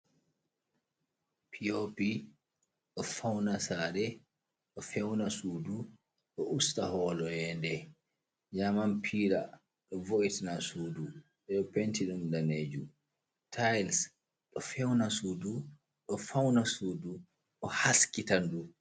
Piopi ɗo fauna sare, ɗo fewna sudu, ɗo usta holo yende. Jaman pila vo'itina sudu ɓe ɗo penti ɗum danejum. Tailis ɗo fewna sudu, ɗo feuna sudu ɗo haskita ndu.